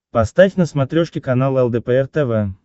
поставь на смотрешке канал лдпр тв